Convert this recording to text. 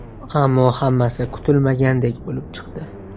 Ammo hammasi kutilmagandek bo‘lib chiqdi.